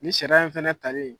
Nin sariya in fana talen.